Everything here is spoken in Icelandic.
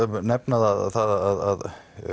nefna að